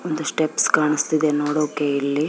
ಒಂದು ಸ್ಟೆಪ್ಸ್ ಕಾಣ್ಸ್ತಿದೆ ನೋಡೋಕೆ ಇಲ್ಲಿ --